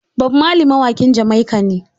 Bob marley mawaƙin Jamaica ne